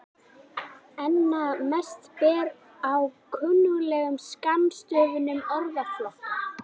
Einna mest ber á kunnuglegum skammstöfunum orðflokka.